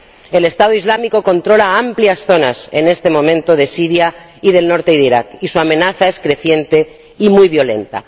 El Estado Islámico controla amplias zonas, en este momento, de Siria y del norte de Irak, y su amenaza es creciente y muy violenta.